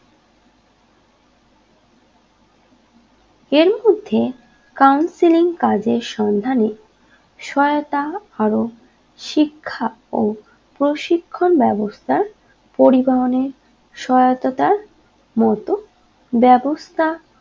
মধ্যে counselling কাজের সন্ধানে শয়তা আরো শিক্ষা ও প্রশিক্ষণ বেবস্থা পরিবহনে সয়াহতা মতো ব্যবস্থা